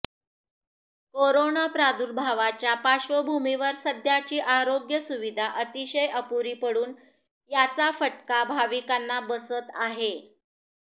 corona प्रादुर्भावाच्या पार्श्वभूमीवर सध्याची आरोग्य सुविधा अतिशय अपुरी पडुन याचा फटका भाविकांना बसत आहे